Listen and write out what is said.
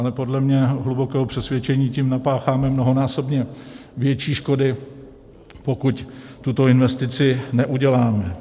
Ale podle mého hlubokého přesvědčení tím napácháme mnohonásobně větší škody, pokud tuto investici neuděláme.